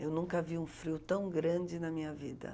Eu nunca vi um frio tão grande na minha vida.